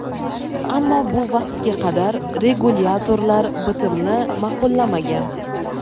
ammo bu vaqtga qadar regulyatorlar bitimni ma’qullamagan.